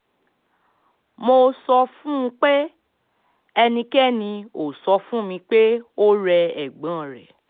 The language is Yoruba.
mo sọ fún un pé ẹnikẹ́ni ò sọ fún mi pé ó rẹ ẹ̀gbọ́n rẹ̀